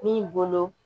Min bolo